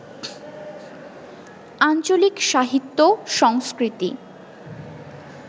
আঞ্চলিক সাহিত্য/সংস্কৃতি